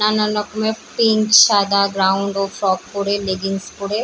নানান রকমের ফিঞ্চ সাদা গ্রাউন ও ফ্রক পরে লেগিংস পরে ।